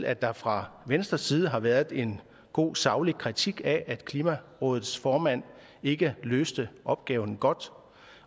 at der fra venstres side har været en god og saglig kritik af at klimarådets formand ikke løste opgaven godt